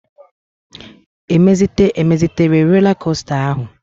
E mezitere rola kosta áhụ̀?